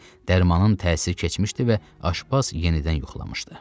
Dərmanın təsiri keçmişdi və aşpaz yenidən yuxulamışdı.